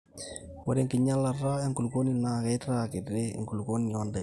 ore enkinyialata enkulupuoni naa keitaa kiti embulunoto oondaiki